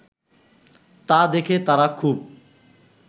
তা দেখে তারা খুব